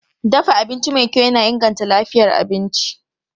Dafa abinci mai kyau yana inganta lafiyar abinci.